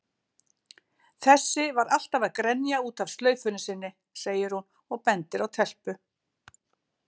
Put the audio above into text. Þessi var alltaf að grenja út af slaufunni sinni, segir hún og bendir á telpu.